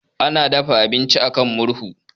Ana dafa abinci a kan murhu.